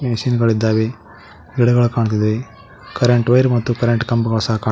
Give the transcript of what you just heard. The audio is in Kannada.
ಮಿಷಿನ್ ಗಳಿದ್ದಾವೆ ಗಿಡಗಳು ಕಾಣ್ತಿದೆ ಕರೆಂಟ್ ವೈರು ಮತ್ತು ಕರೆಂಟ್ ಕಂಬಗಳು ಸಹ ಕಾಣ್ತಿ--